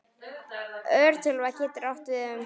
Örtölva getur átt við um